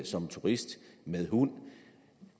som turist med hund